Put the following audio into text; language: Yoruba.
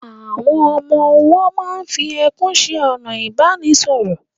Àwọn ọmọ-ọwọ́ máa n fi ẹkún ṣe ọ̀nà ìbánisọ̀rọ̀